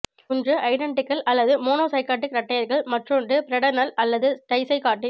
ஒன்று ஐடெண்டிகள் அல்லது மோனோசைகாட்டிக் இரட்டையர்கள் மற்றொன்று பிரடெர்னல் அல்லது டைசைகாட்டிக்